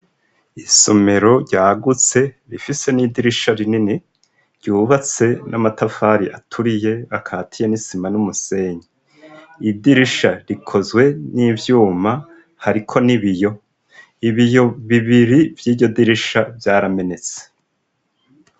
Isomero ryagutse rifise n'idirisha rinini ryubatse n'amatafari aturiye akatiye n'isima n'umusenyi. Idirisha rikozwe n'ivyuma, hariko n'ibiyo. Ibiyo bibiri vy'iryo dirisha vyaramenetse.